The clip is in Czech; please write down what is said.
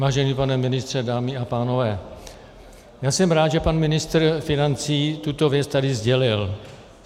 Vážený pane ministře, dámy a pánové, já jsem rád, že pan ministr financí tuto věc tady sdělil.